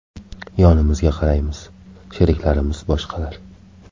Yonimizga qaraymiz sheriklarimiz boshqalar.